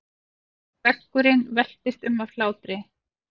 Veggurinn veltist um af hlátri.